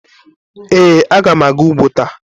Ee, agam aga ugbo ta.